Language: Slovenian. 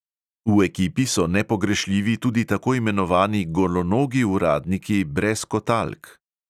V ekipi so nepogrešljivi tudi tako imenovani golonogi uradniki brez kotalk.